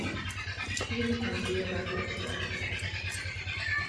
фильм андрея тарковского